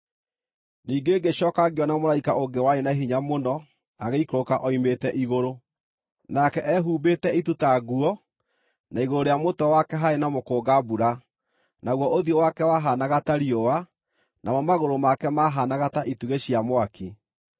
Ningĩ ngĩcooka ngĩona mũraika ũngĩ warĩ na hinya mũno agĩikũrũka oimĩte igũrũ. Nake ehumbĩte itu ta nguo, na igũrũ rĩa mũtwe wake haarĩ na mũkũnga-mbura; naguo ũthiũ wake wahaanaga ta riũa, namo magũrũ make maahaanaga ta itugĩ cia mwaki.